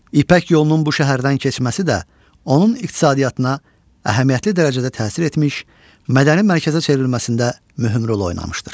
İpək yolunun bu şəhərdən keçməsi də onun iqtisadiyyatına əhəmiyyətli dərəcədə təsir etmiş, mədəni mərkəzə çevrilməsində mühüm rol oynamışdır.